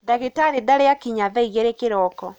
Ndagītarī ītarī akinya thaa igīrī kīroko.